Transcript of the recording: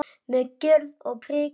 Með gjörð og prik.